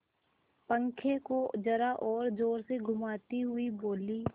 पंखे को जरा और जोर से घुमाती हुई बोली